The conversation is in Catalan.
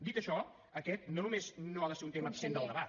dit això aquest no només no ha de ser un tema absent del debat